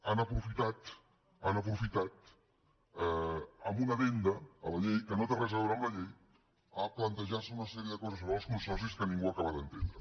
han aprofitat ho han aprofitat amb una addenda a la llei que no té res a veure amb la llei per plantejar se una sèrie de coses sobre els consorcis que ningú acaba d’entendre